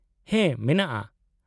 -ᱦᱮᱸ ᱢᱮᱱᱟᱜᱼᱟ ᱾